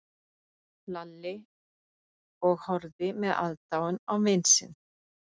Lalli og horfði með aðdáun á vin sinn.